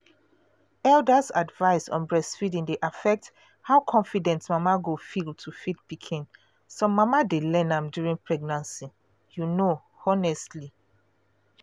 elders’ advice on breastfeeding dey affect how confident mama go feel to feed pikin. some mama dey learn am during pregnancy. you know honestly.